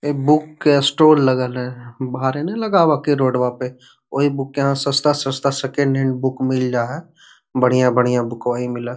एक बुक के स्टाल लगल है बाहरे न लगवा हखिन रोडवा पे वोही बुक यहाँ सस्ता सस्ता सेकंड हैंड बुक मिल जा है बढ़िया बुकवा वही मिला --